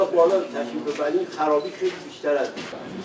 İndi gələ bilərik, xarabı çoxdur.